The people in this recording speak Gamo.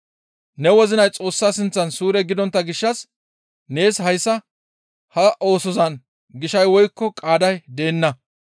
Ne wozinay Xoossa sinththan suure gidontta gishshas nees hayssa ha oosozan gishay woykko qaaday deenna.